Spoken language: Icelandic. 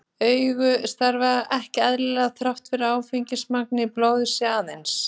Augu starfa ekki eðlilega þótt áfengismagn í blóði sé aðeins